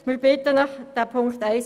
Sie haben auch Ziffer 3 angenommen.